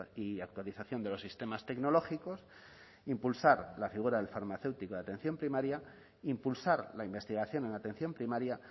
y actualización de los sistemas tecnológicos impulsar la figura del farmacéutico de atención primaria impulsar la investigación en la atención primaria